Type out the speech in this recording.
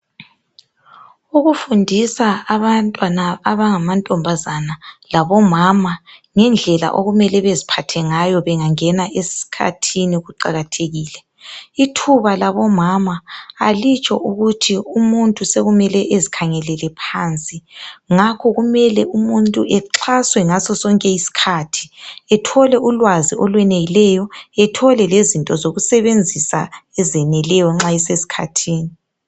Ukufundisa abantwana abangamantombazana labo mama ngendlela okumele beziphathe ngayo bengangena esikhathini kuqakathekile, ithuba labo mama alitsho ukuthi umuntu sokumele ezikhangelele phansi ngakho kumele umuntu exhaswe ngasosonke iskhathi ethole ulwazi olweneleyo , ethole lezinto yokusebenzisa ezeneleyo nxa eseskhathini